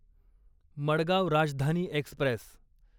Madgaon Rajdhani Express